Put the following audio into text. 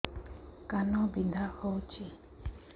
କାନ ବିନ୍ଧା ହଉଛି